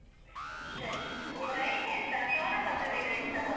ಹ್ಮ್ ಸರಿ. ಸೋನ ಮಸೂರಿ rice ತರೋದಾ?